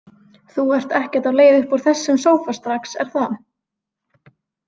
Þú ert ekkert á leið upp úr þessum sófa strax, er það?